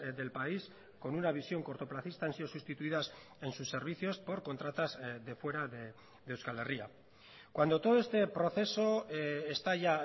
del país con una visión cortoplacista han sido sustituidas en sus servicios por contratas de fuera de euskal herria cuando todo este proceso está ya